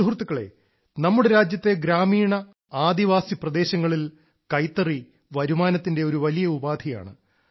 സുഹൃത്തുക്കളെ നമ്മുടെ രാജ്യത്തെ ഗ്രാമീണ ആദിവാസി പ്രദേശങ്ങളിൽ കൈത്തറി വരുമാനത്തിന്റെ ഒരു വലിയ ഉപാധിയാണ്